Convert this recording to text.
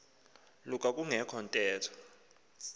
luka kungekho ntetho